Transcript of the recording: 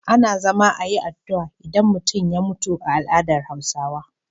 Ana zama ayi addu'a idan an mutu a al adar hausawa